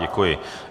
Děkuji.